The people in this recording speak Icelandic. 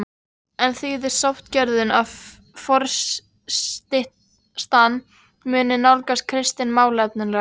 En þýðir sáttagjörðin að forystan muni nálgast Kristin málefnalega?